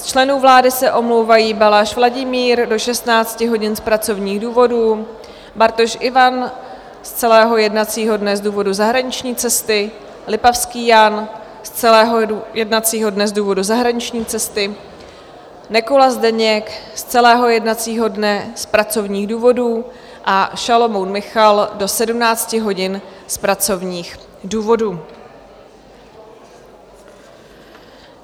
Z členů vlády se omlouvají Balaš Vladimír do 16 hodin z pracovních důvodů, Bartoš Ivan z celého jednacího dne z důvodu zahraniční cesty, Lipavský Jan z celého jednacího dne z důvodu zahraniční cesty, Nekula Zdeněk z celého jednacího dne z pracovních důvodů a Šalomoun Michal do 17 hodin z pracovních důvodů.